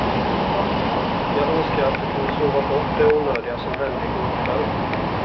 Jag önskar att du kunde sova bort det onödiga som hände i går kväll.